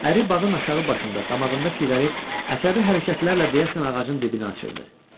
Əri bağın aşağı başında damağında siqaret əsəbi hərəkətlərlə deyəsən ağacın dibini açırdı.